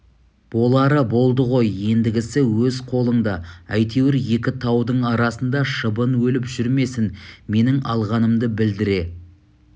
болары болды ғой ендігісі өз қолыңда әйтеуір екі таудың арасында шыбын өліп жүрмесін менің алғанымды білдіре